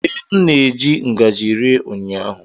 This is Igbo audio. Ee, m na-eji ngaji rie ụnyaahụ.